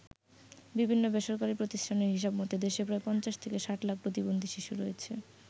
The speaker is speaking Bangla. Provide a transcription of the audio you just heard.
বিভিন্ন বেসরকারী প্রতিষ্ঠানের হিসাব মতে দেশে প্রায় ৫০ থেকে ৬০ লাখ প্রতিবন্ধী শিশু রয়েছে।